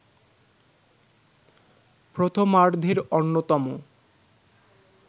প্রথমার্ধের অন্যতম